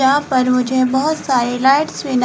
यहां पर मुझे बहोत सारी लाइटस् भी न--